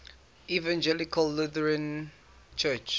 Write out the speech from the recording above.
evangelical lutheran church